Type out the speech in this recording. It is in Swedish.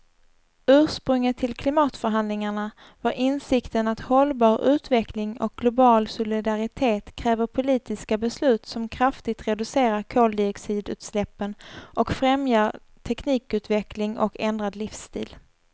Ursprunget till klimatförhandlingarna var insikten att hållbar utveckling och global solidaritet kräver politiska beslut som kraftigt reducerar koldioxidutsläppen och främjar teknikutveckling och ändrad livsstil.